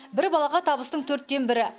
бір балаға табыстың төрттен бірі